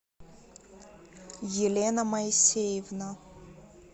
елена моисеевна